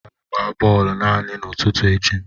Gaa gbaa bọọlụ naanị n'ụtụtụ echi!